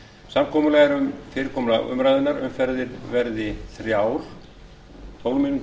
samkomulag er um fyrirkomulag umræðunnar umferðir verði þrjár tólf mín